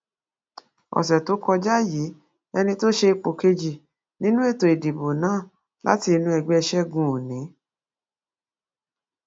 ọsẹ tó kọjá yìí ẹni tó ṣe ipò kejì nínú ètò ìdìbò náà láti inú ẹgbẹ ṣẹgun òní